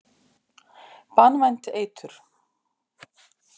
Banvænt eitur.